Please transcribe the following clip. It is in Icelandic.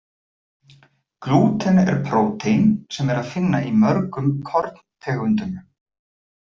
Glúten er prótín sem er að finna í mörgum korntegundum.